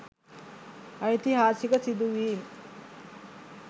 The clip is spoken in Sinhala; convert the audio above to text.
ඓතිහාසික සිදුවීම්